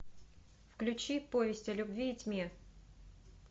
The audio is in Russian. включи повесть о любви и тьме